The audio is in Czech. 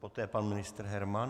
Poté pan ministr Herman.